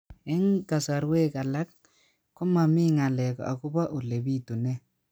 Eng' kasarwek alak ko mami ng'alek akopo ole pitunee